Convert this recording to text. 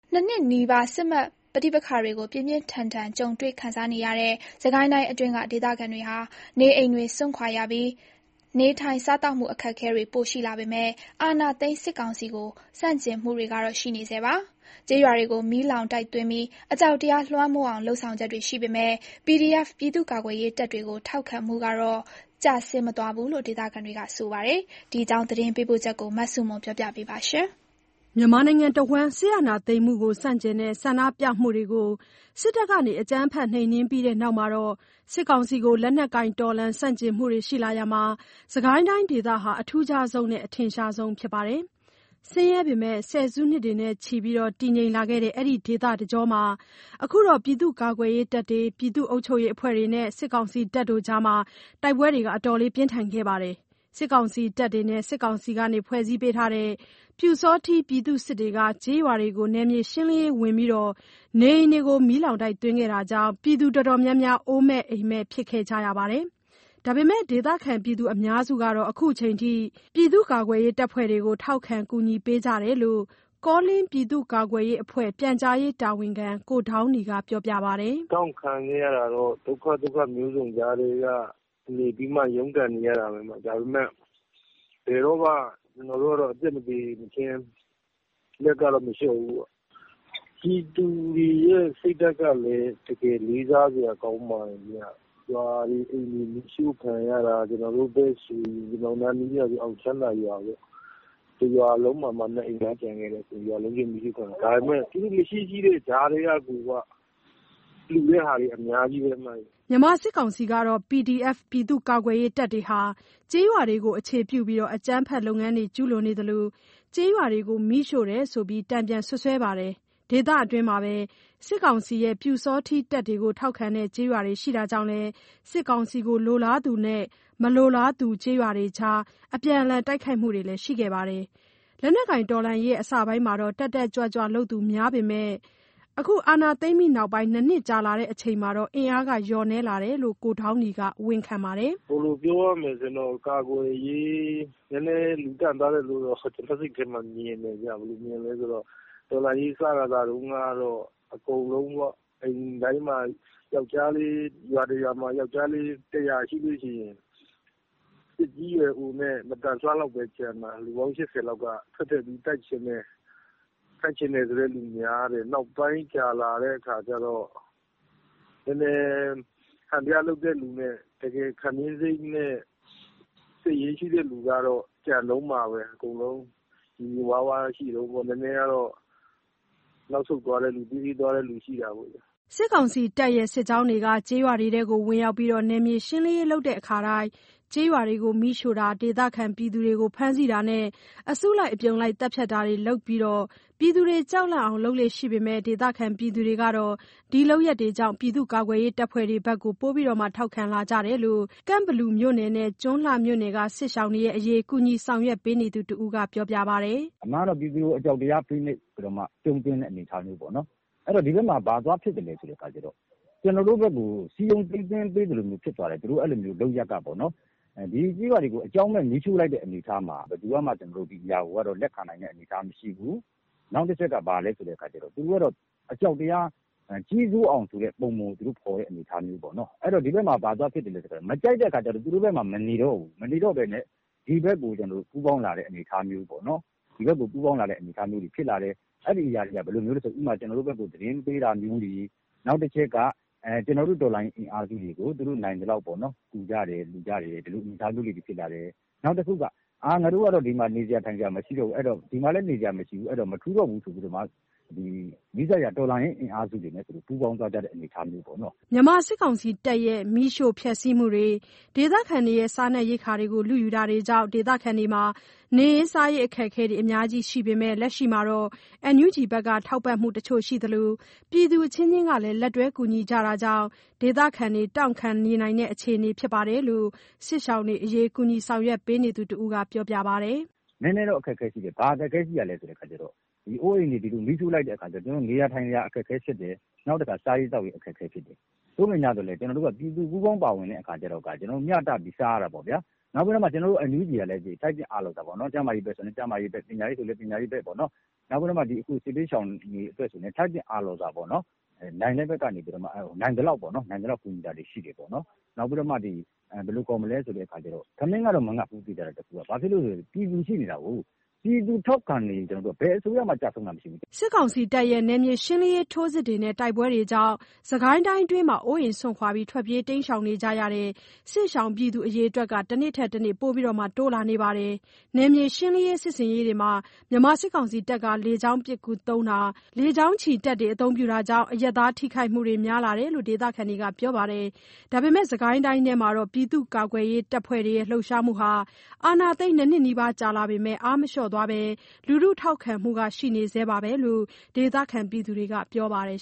နှစ်နှစ်နီးပါး စစ်မက်ပဋိပက္ခတွေကို ပြင်းပြင်းထန်ထန်ကြုံတွေ့ခံစားနေရတဲ့ စစ်ကိုင်းတိုင်းအတွင်း ဒေသခံတွေဟာ နေအိမ်တွေစွန့်ခွာရပြီး နေထိုင်စားသောက်မှု အခက်အခဲတွေပိုရှိလာပေမယ့်လို့ အာဏာသိမ်းစစ်ကောင်စီကို ဆန့်ကျင်မှုတွေကတော့ ရှိနေဆဲပါ။ ကျေးရွာတွေကိုမီးလောင်တိုက်သွင်းပြီး အကြောက်တရားလွှမ်းမိုးအောင် လုပ်ဆောင်ချက်တွေရှိပေမယ့် PDF ပြည်သူ့ကာကွယ်ရေးတပ်တွေကို ထောက်ခံမှု ကျဆင်းမသွားဘူးလို့ ဒေသခံတွေက ပြောပါတယ်။ ဒီအကြောင်း သတင်းပေးပို့ချက်ကို မဆုမွန်က ပြောပြမှာပါ။ စစ်အာဏာသိမ်းမှုကိုဆန့်ကျင်တဲ့ ဆန္ဒပြမှုတွေကို စစ်တပ်ကအကြမ်းဖက်နှိမ်နင်းပြီးနောက်ပိုင်း မြန်မာနိုင်ငံတဝှမ်း စစ်ကောင်စီကို လက်နက်ကိုင်တော်လှန်ဆန့်ကျင်မှုတွေရှိလာရာမှာ စစ်ကိုင်းတိုင်းဒေသဟာ အထူးခြားဆုံးနဲ့ အထင်ရှားဆုံးဖြစ်ပါတယ်။ ဆင်းရဲပေမယ့် ဆယ်စုနှစ်တွေနဲ့ချီ တည်ငြိမ်လာခဲ့တဲ့ အဲဒီဒေသတကျော့မှာ အခုတော့ ပြည်သူ့ကာကွယ်ရေးတပ်တွေ၊ ပြည်သူ့အုပ်ချုပ်ရေးအဖွဲ့တွေနဲ့ စစ်ကောင်စီတပ်တွေအကြား တိုက်ပွဲတွေပြင်းထန်ခဲ့ပါတယ်။ စစ်ကောင်စီတပ်တွေနဲ့ စစ်ကောင်စီကဖွဲ့စည်းပေးတဲ့ ပျူစောထီး ပြည်သူ့စစ်တွေက ကျေးရွာတွေကို နယ်မြေရှင်းလင်းရေးဝင်ပြီး နေအိမ်တွေ မီးလောင်တိုက်သွင်းခဲ့တာကြောင့် အတော်များများက အိုးအိမ်မဲ့ဖြစ်ကြရပါတယ်။ ဒါပေမယ့် ဒေသခံအများစုဟာ အခုအချိန်ထိ ပြည့်သူ့ကာကွယ်ရေးတပ်ဖွဲ့တွေကို ထောက်ခံကူညီကြတယ်လို့ ကောလင်းပြည်သူ့ကာကွယ်ရေးအဖွဲ့ ပြန်ကြားရေးတာဝန်ခံ ကိုဒေါင်းနီက ပြောပါတယ်။ "တောင့်ခံခဲ့ရတာကတော့ ဒုက္ခသုတ်ခမျိုးစုံ ကြားထဲကနေပြီးမှ ရုံးကန်နေရတာပဲ။ ဒါပေမယ့် ဘယ်တော့မှ ကျွန်တော်တို့ကတော့ အသက်မသေမချင်း လက်ကတော့ မလျှော့ဘူးပေါ့။ ပြည်သူတွေရဲ့ စိတ်ဓာတ်ကလည်း တကယ် လေးစားစရာ ကောင်းပါတယ်ဗျ။ ရွာတွေ၊ အိမ်တွေ မီးရှို့ခံရတာ ကျွန်တော်တို့ဖက်တွေဆိုရင် ကျွန်တော်တို့ အောင်ချမ်းသာရွာပေါ့ တစ်ရွာလုံးမှာမှ နှစ်အိမ်ပဲ ကျန်ခဲတာ။ ဒါပေမယ့် မရှိ ရှိတဲ့ ကြားထဲက (PDF/စစ်ရှောင်တွေကို)လှူတာတွေ အများကြီးပဲ။" မြန်မာစစ်ကောင်စီကတော့ PDF တွေဟာ ကျေးရွာတွေကို အခြေပြုပြီး အကြမ်းဖက်လုပ်ငန်းတွေကျူးလွန်နေသလို၊ ကျေးရွာတွေကို မီးရှို့တာရှိတယ်လို့ တန်ပြန်စွပ်စွဲပါတယ်။ ဒေသတွင်းမှာပဲ စစ်ကောင်စီရဲ့ ပျူစောထီးတပ်တွေကို ထောက်ခံတဲ့ကျေးရွာတွေရှိတာကြောင့်လည်း စစ်ကောင်စီလိုလားသူနဲ့ မလိုလားသူ ကျေးရွာတွေအကြား အပြန်အလှန်တိုက်ခိုက်မှုတွေလည်း ရှိခဲ့ပါတယ်။ လက်နက်ကိုင်တော်လှန်ရေးအစပိုင်းမှာ တတ်တတ်ကြွကြွလုပ်သူတွေများပေမယ့် အခု နှစ်နှစ်ကြာလာတဲ့အချိန်မှာတော့ အင်အားလျှော့နည်းလာတယ်လို့တော့ ကိုဒေါင်းနီက ဝန်ခံပါတယ်။ "ပြောရမယ်ဆိုရင်တော့ ကာကွယ်ရေး နည်းနည်းလူလျော့သွားတယ်လို့တော့ ကျွန်တော့် စိတ်ထဲမှာ မြင်တယ်ဗျ။ တော်လှန်ရေး စခါစတုန်းကတော့ အကုန်လုံးပေါ့ အိမ်ထဲမှာ ၊ ရွာတရွာမှ ယောက်ျားလေး ၁၀၀ ရှိရင် သက်ကြီးရွယ်အိုနဲ့ မသန်စွမ်းလောက်ပဲကျန်မှာ ကျန်တဲ့သူတွေ အကုန်လုံးက ထွက်ပြီးတော့ တိုက်ချင်တယ်။ အဲ့လိုလူတွေများတယ်၊ နောက်ပိုင်းကြာလာတဲ့ခါကျတော့ ဟန်ပြလုပ်တဲ့သူနဲ့(ကွာလာတာပေါ့)၊ တကယ် ခံပြင်းစိတ်နဲ့ စိတ်ရင်းရှိတဲ့သူတွေကတော့ ကျန်တုန်းပါပဲ။ အကုန်လုံး လိုလိုလားလားရှိတုန်းပေါ့ နည်းနည်းကတော့ နောက်ဆုတ်သွားတဲ့သူ ရှိတာပေါ့ဗျာ။" စစ်ကောင်စီစစ်ကြောင်းတွေက ကျေးရွာတွေကို ဝင်ရောက်ပြီး နယ်မြေရှင်းလင်းရေး လုပ်တိုင်း ကျေးရွာတွေကို မီးရှို့တာ၊ ဒေသခံတွေကို ဖမ်းဆီးတာနဲ့ အစုလိုက်အပြုံလိုက် သတ်ဖြတ်တာတွေလုပ်က ပြည်သူတွေ ကြောက်လန့်အောင် လုပ်လေ့ရှိပေမယ့် ဒေသခံတွေကတော့ အဲ့ဒီလုပ်ရပ်တွေကြောင့် ပြည်သူ့ကာကွယ်ရေး တပ်ဖွဲ့တွေဖက်ကို ပိုပြီးထောက်ခံလာကြတယ်လို့ ကန့်ဘလူမြို့နယ်နဲ့ ကျွန်းလှ မြို့နယ်က စစ်ရှောင်တွေအရေး ကူညီဆောင်ရွက်ပေးနေသူတစ်ဦးက ခုလိုပြောပါတယ်။ "အမှန်တော့ ပြည်သူကို အကြောက်တရားနဲ့ဖိနှိပ်ပြီးတော့မှ ကျုံးသွင်းတဲ့ အနေအထားပေါ့နော်။ အဲ့တော့ ဘာသွားဖြစ်သလဲဆိုတော့ ကျွန်တော်တို့ဘက်ကို စည်းရုံးသိမ်းသွင်းပေးသလိုမျိုး ဖြစ်သွားတယ်။ ဒီကျေးရွာတွေကို အကြောင်းမဲ့ မီးရှို့လိုက်တဲ့ အနေအထားမှာ ဒါတွေကို ကျွန်တော်တို့ကတော့ လက်ခံနိုင်တဲ့ အနေအထားမရှိဘူး။ နောက်တစ်ချက်က ဘာလဲဆိုတော့ သူတို့ကတော့ အကြောက်တရား ဆိုတာကို သူတို့ ပုံဖော်တဲ့ အနေအထားပေါ့နော်။ မကြိုက်တဲ့ခါကျတော့ သူတို့ဘက်မှာ မနေတော့ဘူး မနေတော့ဘဲနဲ့ ဒီဘက်ကို ပူးပေါင်းလာတဲ့ အနေအထားပေါ့နော်။ အဲ့ဒါက ဘယ်လိုတွေလဲဆိုရင် ကျွန်တော်တို့ဘက်ကို သတင်းပေးတာမျိုးတွေ။ နောက်တစ်ချက်က ကျွန်တော်တို့ တော်လှန်ရေးအင်အားစုတွေကို သူတို့ နိုင်သလောက်ပေါ့နော်၊ လှူကြတယ်၊ ကူကြတယ် ဒီလို အနေအထားမျိုးလေးတွေ ဖြစ်လာတယ်။ နောက်တစ်ချက်က ဒီမှာ နေစရာ ထိုင်စရာ မရှိတော့ဘူးဆိုတော့ ငါတို့က မထူးတော့ဘူးဆိုပြီးတော့ နီးစပ်ရာ တော်လှန်ရေး အင်အားစုတွေနဲ့ ပူးပေါင်းသွားတဲ့ အနေအထားပေါ့နော်။" မြန်မာစစ်တပ်ရဲ့ မီးရှို့ဖျက်ဆီးမှုတွေ။ ဒေသခံတွေရဲ့ စားနပ်ရိက္ခာတွေကို လုယူတာတွေကြောင့် ဒေသခံတွေအတွက် နေရေး စားရေး အခက်အခဲတွေ အများကြီးရှိနေပေမယ့် လက်ရှိမှာ NUG က ထောက်ပံ့မှု တချို့ရှိသလို ပြည်သူအချင်းချင်းကလည်း လက်တွဲ ကူညီကြတာကြောင့် ဒေသခံတွေအတွက် တောင့်ခံနိုင်နေတဲ့ အခြေအနေဖြစ်တယ်လို့ စစ်ရှောင်တွေအရေး ကူညီဆောင်ရွက်ပေးနေသူတစ်ဦးက ပြောပြပါတယ်။ "နည်းနည်းတော့ အခက်အခဲ ရှိတယ်၊ ဘာအခက်အခဲရှိသလဲဆိုတော့ နေစရာ ထိုင်စရာ အခက်အခဲဖြစ်တယ်၊ နောက်ပြီးတော့ စားရေး သောက်ရေး အခက်အခဲ ဖြစ်တယ်။ သို့ပေမယ့် ကျွန်တော်တို့မှာက ပြည်သူတွေက ပူးပေါင်းပါဝင်တဲ့အခါကျတော့ မျှတပြီးတော့ စားရတာပေါ့ဗျာ။ နောက်ပြီးတော့ ကျွန်တော်တို့ NUG ကလည်း ထိုက်သင့်အားလျော်စွာ ကျန်းမာရေးဆိုလည်း ကျန်းမာရေးအတွက် ပညာရေးအတွက်ဆိုလည်း ပညာရေးအတွက် နောက်ပြီးတော့မှ စစ်ဘေးရှောင်တွေအတွက်ဆိုပြိးတော့လည်း ထိုက်သင့်အားလျော်စွာ နိုင်တဲ့ ဖက်ကနေပြီးတော့မှ နိုင်သလောက် ထိုက်သင့်အားလျော်စွာ ကူညီတာတွေ ရှိတယ်ပေါ့နော်။ နောက်ပြီးတော့ သေချာတာတခုကတော့ ထမင်းမငတ်ဘူးဗျ။ ဘာလို့လဲဆိုတော့ ပြည်သူရှိနေတာကိုး။ ပြည်သူထောက်ခံနေရင် ဘယ်အစိုးရမှ ကျဆုံးတာ မရှိဘူးဗျ။" စစ်တပ်ရဲ့ နယ်မြေရှင်းလင်းရေး ထိုးစစ်နဲ့ တိုက်ပွဲတွေကြောင့် စစ်ကိုင်းအတွင်းမှာ အိုးအိမ် စွန့်ခွာ ထွက်ပြေးနေကြရတဲ့ စစ်ရှောင် အရေ အတွက်တွေက တနေ့ထက်တနေ့ ပိုပြီးတိုးလာနေပါတယ်။ နယ်မြေရှင်းလင်းရေးစစ်ဆင်ရေးတွေမှာ မြန်မာစစ်ကောင်စီက လေကြောင်းပစ်ကူသုံးတာ၊ လေကြောင်းချီတပ် အသုံးပြုတာတွေကြောင့် အရပ်သားထိခိုက်မှုတွေလည်း များလာတယ်လို့ ဒေသခံတွေက ပြောပါတယ်။ ဒါပေမယ့် စစ်ကိုင်းတိုင်းအတွင်း ပြည်သူ့ကာကွယ်ရေးတပ်ဖွဲ့တွေရဲ့ လှုပ်ရှားမှုဟာ အာဏာသိမ်းနှစ်နှစ်နီးပါးကြာလာပေမယ့် အားမလျှော့သွားဘဲ လူထုထောက်ခံမှုလည်း ရှိနေဆဲပဲလို့ ဒေသခံတွေက ပြောပါတယ်